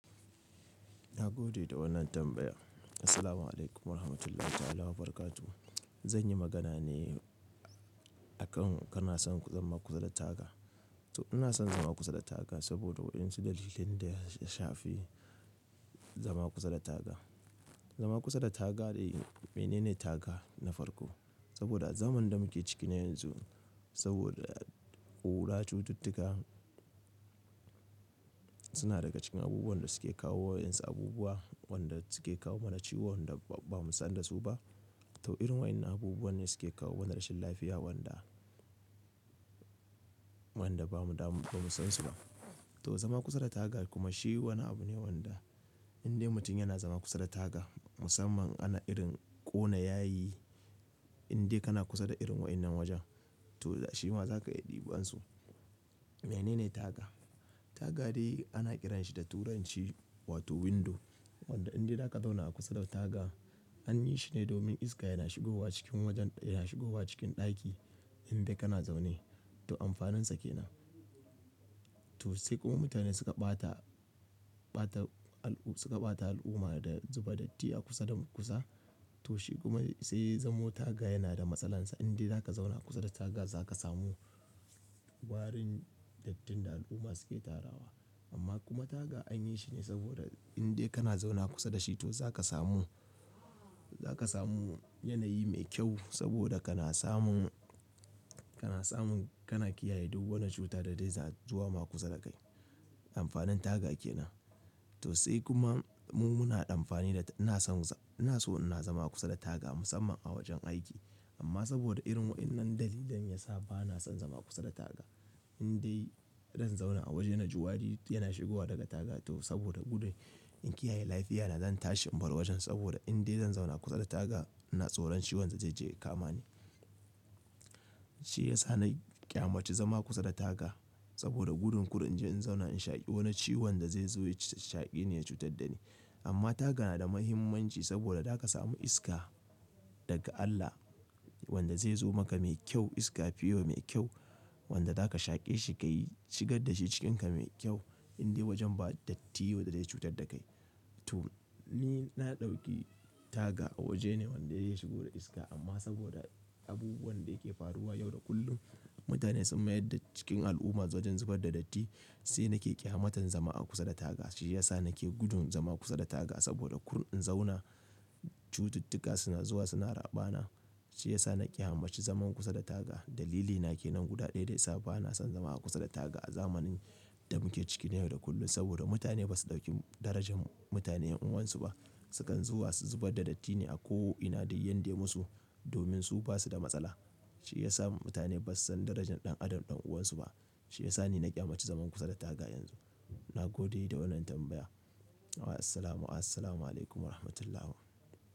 Na gode da wannan tambaya. Assalamu 'alaikum warahmatullahi ta'ala wa barakatuhu. Zan yi magana ne akan kana son zama kusa da taga. To ina son zama kusa da taga saboda waƴansu dalilan da ya shafi zama kusa da taga. Zama kusa da taga dai menene taga na farko? Saboda zaman da muke ciki na yanzu, saboda ƙura cututtuka. Suna daga cikin abubuwan da suke kawo waƴansu abubuwa wanda suke kawo mana ciwon da ba mu san da su ba. To irin waƴannan abubuwan ne suke kawo mana rashin lafiya wanda, wanda ba mu damu, ba mu san su ba. To zama kusa da taga kuma shi wani abu ne wanda in dai mutum yana zama kusa da taga musamman ana irin ƙona yayi in dai kana kusa da irin waƴannan wajen to shi ma za ka yi ɗiban su. Menene taga? Taga dai ana kiranshi da turanci wato window wanda in dai zaka zauna a kusa da taga an yi shine domin iska yana shigowa cikin wajen, yana shigowa cikin ɗaki in dai kana zaune. To amfaninsa kenan. To sai kuma mutane suka ɓata, ɓata suka ɓata al'umma da zuba datti a kusa da kusa. To shi kuma sai ya zamo taga yana da matsalansa. In dai zaka zauna kusa da taga zaka samu warin dattin da al'umma suke tarawa. Amma kuma taga an yi shi ne saboda in dai kana zauna kusa da shi to zaka samu. Zaka samu yanayi mai kyau saboda kana samun, kana samun, kana kiyaye duk wani cuta da dai za zuwa ma kusa da kai. Amfanin taga kenan. To sai kuma mu muna amfani da, ina son, ina so ina zama kusa da taga musamman a wajen aiki. Amma saboda irin waƴannan dalilan ya sa ba na son zama kusa da taga. In dai zan zauna a waje na ji wari yana shigowa daga taga to saboda gudun in kiyaye lafiyata zan tashi in bar wajen saboda in dai zan zauna kusa da taga ina tsoron ciwon da zai je ya kama ni. Shi ya sa na ƙyamaci zama kusa da taga saboda gudun kar in je in zauna in shaƙi wani ciwon da zai zo ya shaƙeni ya cutar da ni. Amma taga na da muhimmanci saboda zaka samu iska daga Allah. Wanda zai zo maka mai kyau iska pure mai kyau. Wanda za ka shaƙe shi kai shigar da shi cikinka mai kyau in dai wajen ba datti wanda zai cutar da kai. To ni na ɗauki taga waje ne wanda zai shigo da iska amma saboda abubuwan da yake faruwa yau da kullum mutane sun mayar da cikin al'umma wajen zubar da datti. Sai nake ƙyamatan zama a kusa da taga. Shi ya sa nake gudun zama kusa da taga saboda kur in zauna cututtuka suna zuwa suna raɓa na. Shi ya sa na ƙyamaci zaman kusa da taga. Dalilina kenan guda ɗaya da ya sa ba na son zama a kusa da taga a zamanin. Da muke ciki na yau da kullum, saboda mutane ba su ɗauki darajar mutane ƴan uwansu ba. Su kan zuwa su zubar da datti ne a ko ina dai yanda yai musu domin su basu da matsala. Shi ya sa mutane ba su san darajar ɗan adam ɗan uwansu ba. Shi ya sa ni na ƙyamaci zaman kusa da taga yanzu. Na gode da wannan tambaya. Wa assalamu, assalamu 'alaikum warahmatullahi.